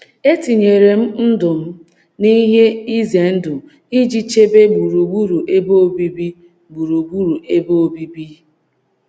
“ Etinyere M Ndụ M n’Ihe Ize Ndụ Iji Chebe Gburugburu Ebe Obibi Gburugburu Ebe Obibi ”